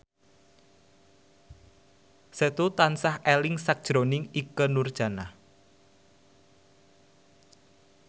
Setu tansah eling sakjroning Ikke Nurjanah